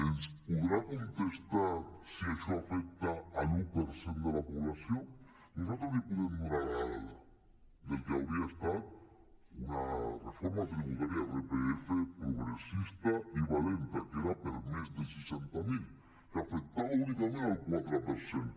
ens podrà contestar si això afecta l’un per cent de la població nosaltres li podem donar la dada del que hauria estat una reforma tributària de l’irpf progressista i valenta que era per a més de seixanta mil que afectava únicament el quatre per cent